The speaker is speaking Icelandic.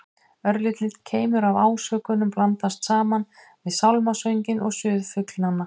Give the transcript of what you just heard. Örlítill keimur af ásökun blandast saman við sálmasönginn og suð flugnanna.